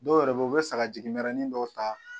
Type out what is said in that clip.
Dɔw yɛrɛ bɛ ye u bɛ sagajigi mɛrɛnin dɔw ta.